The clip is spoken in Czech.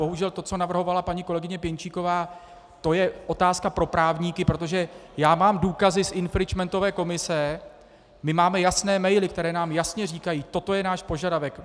Bohužel to, co navrhovala paní kolegyně Pěnčíková, to je otázka pro právníky, protože já mám důkazy z infringementové komise, my máme jasné maily, které nám jasně říkají "toto je náš požadavek".